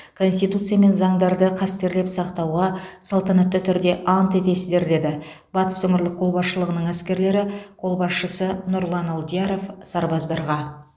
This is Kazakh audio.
конституция мен заңдарды қастерлеп сақтауға салтанатты түрде ант етесіздер деді батыс өңірлік қолбасшылығының әскерлері қолбасшысы нұрлан алдияров сарбаздарға